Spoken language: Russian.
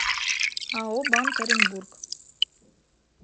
ао банк оренбург